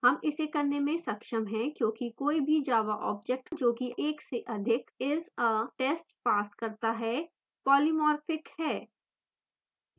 हम इसे करने में सक्षम हैं क्योंकि कोई भी java object जो कि एक से अधिक isa test pass करता है polymorphic है